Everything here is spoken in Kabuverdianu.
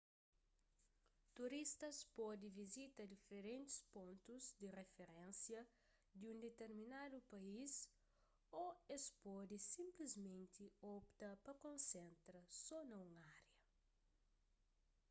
turistas pode vizita diferentis pontus di riferénsia di un diterminadu país ô es pode sinplismenti opta pa konsentra so na un ária